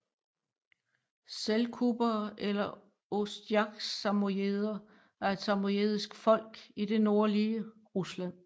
Selkupere eller ostjaksamojeder er et samojedisk folk i det nordlige Rusland